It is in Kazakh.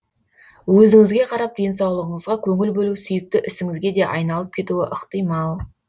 өзіңізге қарап денсаулығыңызға көңіл бөлу сүйікті ісіңізге де айналып кетуі ықтимал